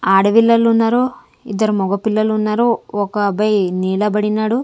ఆడ విల్లలు ఉన్నారు ఇద్దరు మొగ పిల్లలు ఉన్నారు ఒక అబ్బాయి నీలబడినాడు.